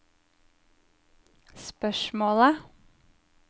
spørsmålet